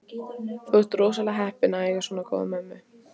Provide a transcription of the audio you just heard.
Þú ert rosalega heppinn að eiga svona góða mömmu.